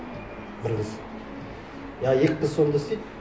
бір қыз я екі қыз сонда істейді